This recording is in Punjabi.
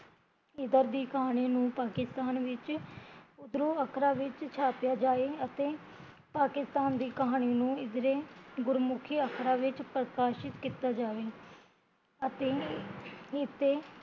ਇਦਰ ਦੀ ਕਹਾਣੀ ਨੂ ਪਾਕਿਸਤਾਨ ਵਿੱਚ ਉਦਰੋਂ ਅਕਰਾ ਵਿੱਚ ਛਾਪਿਆ ਜਾਏ ਅਤੇ ਪਾਕਿਸਤਾਨ ਦੀ ਕਹਾਣੀ ਨੂ ਇਦਰੇ ਗੁਰਮੁਖੀ ਅਖਰਾ ਵਿੱਚ ਪ੍ਰਕਾਸ਼ਿਤ ਕੀਤਾ ਜਾਵੇ ਅਤੇ ਇਸਤੇ